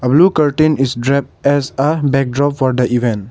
blue curtain is drapped as a backdrop for the event.